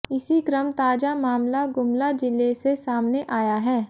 इसी क्रम ताजा मामला गुमला जिले से सामने आया है